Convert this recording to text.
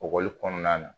Ekɔkɔli kɔnɔna na